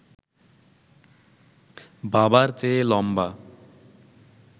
বাবার চেয়ে লম্বা